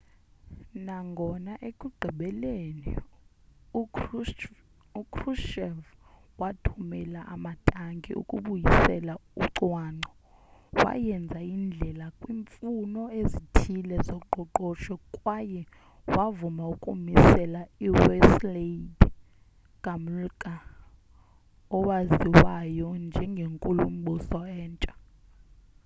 nangona ekugqibeleni ukrushchev wathumela amatanki ukubuyisela ucwangco wayenza indlela kwiimfuno ezithile zoqoqosho kwaye wavuma ukumisela uwladyslaw gomulka owaziwayo njengenkulumbuso entsha